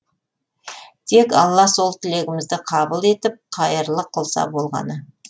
тек алла сол тілегімізді қабыл етіп қайырлы қылса болғаны